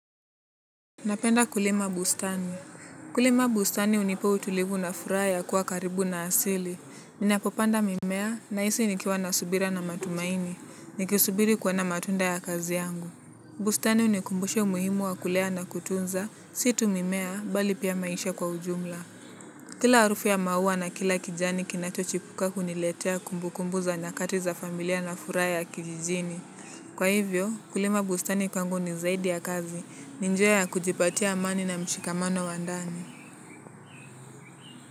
Napenda kulima bustani kulima bustani unipa utulivu na furaha ya kuwa karibu na asili ninapopanda mimea nahisi nikiwa na subira na matumaini. Nikisubiri kuona matunda ya kazi yangu. Bustani unikumbusha umuhimu wa kulea na kutunza si tu mimea mbali pia maisha kwa ujumla. Kila arufu ya maua na kila kijani kinachochipuka uniletea kumbukumbu za nyakati za familia na furaha kijijini. Kwa hivyo, kulima bustani kwangu ni zaidi ya kazi, ni njia ya kujipatia amani na mshikamano wa ndani.